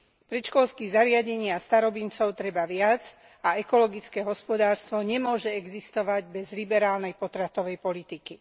Predškolských zariadení a starobincov treba viac a ekologické hospodárstvo nemôže existovať bez liberálnej potratovej politiky.